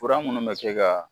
Fura minnu bɛ kɛ ka